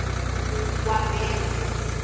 wabese